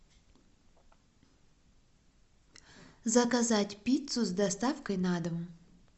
заказать пиццу с доставкой на дом